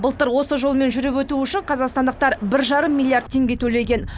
былтыр осы жолмен жүріп өту үшін қазақстандықтар бір жарым миллиард теңге төлеген